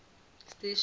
station